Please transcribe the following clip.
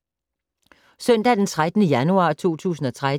Søndag d. 13. januar 2013